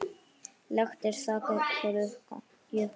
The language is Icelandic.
Lekt er þak hjá Jukka.